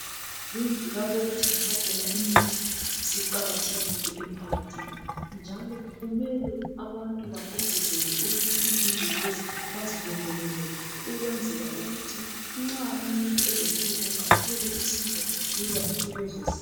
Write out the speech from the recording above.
izindlu lapho okuthengiswa khona imithi ziqakathekile emphakathini njalo kumele abantu bagqugquzelwe ukuthi izindlu lezi bazilondolze kuhle ukwenzela ukuthi nxa umuntu elohlupho athole usizo lula kulezozindlu